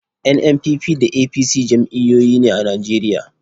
NNPP da APC jam'iyyoyi ne a Najeriya.